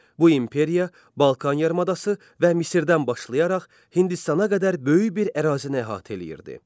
Bu imperiya Balkan yarımadası və Misirdən başlayaraq Hindistana qədər böyük bir ərazini əhatə eləyirdi.